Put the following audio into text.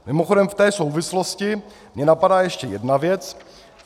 Mimochodem v té souvislosti mě napadá ještě jedna věc.